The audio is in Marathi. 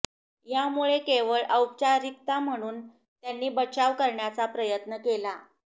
यामुळे केवळ औपचारिकता म्हणून त्यांनी बचाव करण्याचा प्रयत्न केला